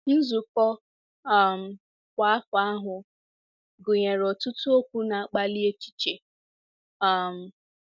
Nzukọ um kwa afọ ahụ gụnyere ọtụtụ okwu na-akpali echiche um.